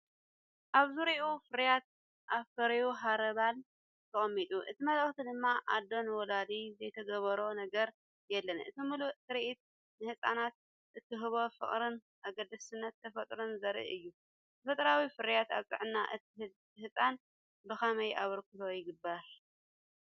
ኣብ ዙርያኣ ፍርያት ኣፍሪ ሃርባል ተቐሚጡ፡ እቲ መልእኽቲ ድማ "ኣደ ንውላዳ ዘይትገብሮ ነገር የለን!" እቲ ምሉእ ትርኢት ንህጻናት እትህቦ ፍቕርን ኣገዳስነት ተፈጥሮን ዘርኢ እዩ። ተፈጥሮኣዊ ፍርያት ኣብ ጥዕና እቲ ህጻን ብኸመይ ኣበርክቶ ይገብሩ፧